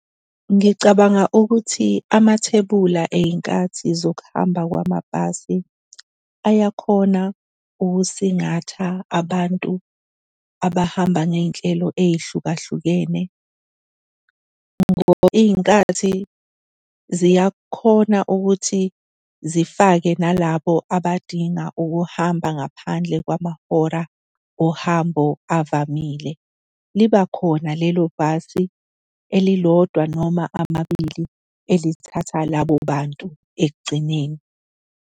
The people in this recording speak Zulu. Ngicabanga ukuthi amathebula ey'nkathini zokuhamba kwamabhasi ayakhona ukusingatha abantu abahamba ngey'nhlelo ey'hlukahlukene ngoba iy'nkathi ziyakhona ukuthi zifake nalabo abadinga ukuhamba ngaphandle kwamahora ohambo avamile. Liba khona lelo bhasi elilodwa noma amabili elithatha labo bantu ekugcineni.